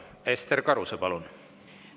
Ester Karuse, palun!